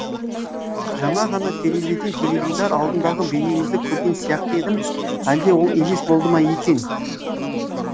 жаңа ғана терезеден теледидар алдындағы бейнеңізді көрген сияқты едім әлде ол елес болды ма екен